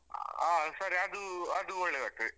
ಹಾ ಸರಿ. ಅದು ಅದೂ ಒಳ್ಳೇದಾಗ್ತದೆ.